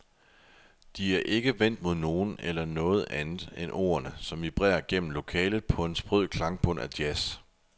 De er ikke vendt mod nogen eller noget andet end ordene, som vibrerer gennem lokalet på en sprød klangbund af jazz.